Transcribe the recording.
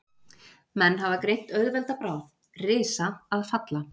Menn hafa greint auðvelda bráð, risa að falla.